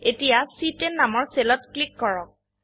এতিয়া চি10 নামৰ সেলত ক্লিক কৰক